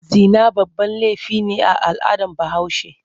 Zina babban laifi ne a al'adar Bahaushe.